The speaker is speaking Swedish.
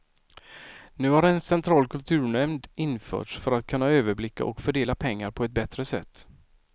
Nu har en central kulturnämnd införts för att kunna överblicka och fördela pengar på ett bättre sätt.